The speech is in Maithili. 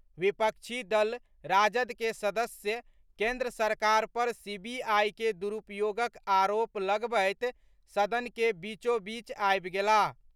विपक्षी दल राजद के सदस्य केंद्र सरकार पर सीबीआई के दुरूपयोगक आरोप लगबैत सदन के बीचोबीच आबि गेलाह।